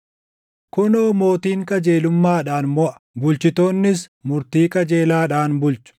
Kunoo mootiin qajeelummaadhaan moʼa; bulchitoonnis murtii qajeelaadhaan bulchu.